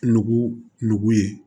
Nugu nugu ye